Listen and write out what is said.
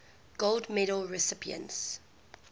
gold medal recipients